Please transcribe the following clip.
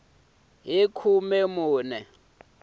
hi khume n we wa